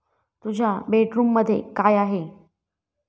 तुझ्या बेडरूममध्ये काय आहे?